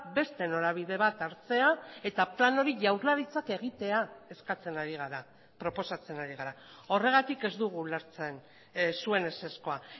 beste norabide bat hartzea eta plan hori jaurlaritzak egitea eskatzen ari gara proposatzen ari gara horregatik ez dugu ulertzen zuen ezezkoa